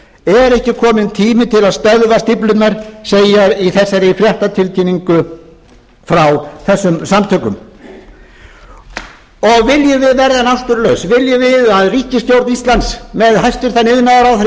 er ekki kominn tími til að stöðva stíflurnar segir í þessari fréttatilkynningu frá þessum samtökum og viljum við verða náttúrulaus viljum við að ríkisstjórn íslands með hæstvirtur iðnaðarráðherra í